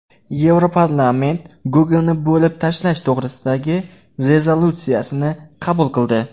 Yevroparlament Google’ni bo‘lib tashlash to‘g‘risidagi rezolyutsiyani qabul qildi.